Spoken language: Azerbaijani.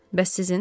Bəs sizin?